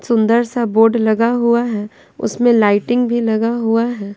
सुंदर सा बोर्ड लगा हुआ है उसमें लाइटिंग भी लगा हुआ है।